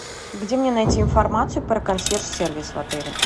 где мне найти информацию про консьерж сервис в отеле